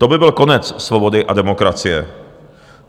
To by byl konec svobody a demokracie.